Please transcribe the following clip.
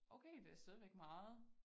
Okay det stadigvæk meget